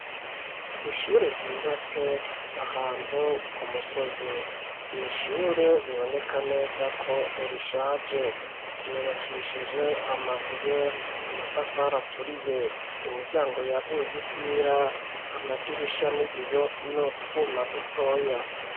Ishure ryubatse ahantu ku musozi, n'ishure biboneka neza ko rishaje, ryubakishije amabuye, amatafari aturiye, imiryango yaguye ifira, amadirisha, n'ibiyo n'utwuma dutoya.